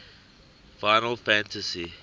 final fantasy